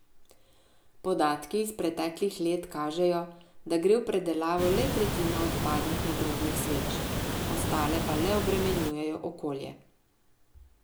Podatki iz preteklih let kažejo, da gre v predelavo le tretjina odpadnih nagrobnih sveč, ostale pa le obremenjujejo okolje.